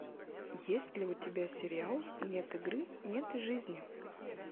есть ли у тебя сериал нет игры нет и жизни